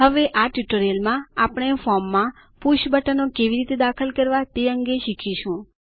હવે આ ટ્યુટોરીયલમાં આપણે ફોર્મમાં પુષ બટનો કેવી રીતે દાખલ કરવા તે અંગે શીખીશું